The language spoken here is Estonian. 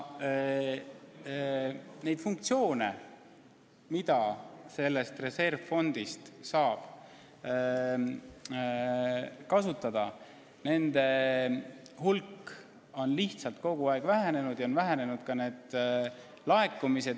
Nende funktsioonide hulk, milleks reservfondi raha saab kasutada, on kogu aeg vähenenud, sest on vähenenud ka laekumised.